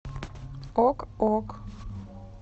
ок ок